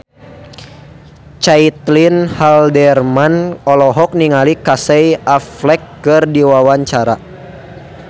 Caitlin Halderman olohok ningali Casey Affleck keur diwawancara